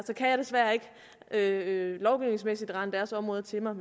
kan jeg desværre ikke lovgivningsmæssigt rane deres områder til mig